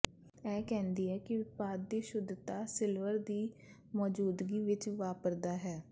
ਇਹ ਕਹਿੰਦੀ ਹੈ ਕਿ ਉਤਪਾਦ ਦੀ ਸ਼ੁੱਧਤਾ ਸਿਲਵਰ ਦੀ ਮੌਜੂਦਗੀ ਵਿੱਚ ਵਾਪਰਦਾ ਹੈ